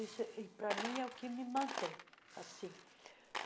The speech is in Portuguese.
Isso, e para mim, é o que me mantém. assim